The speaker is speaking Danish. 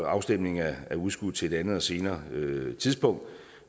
afstemningen er udskudt til et andet og senere tidspunkt